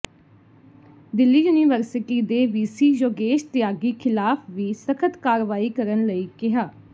Delhi university ਦੇ VC Yogesh Tyagi ਖ਼ਿਲਾਫ ਵੀ ਸਖ਼ਤ ਕਾਰਵਾਈ ਕਰਨ ਲਈ ਕਿਹਾ